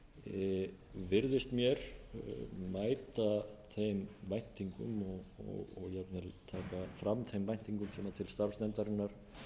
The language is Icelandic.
skýrsla virðist mér mæta þeim væntingum og jafnvel taka fram þeim væntingum sem til starfs nefndarinnar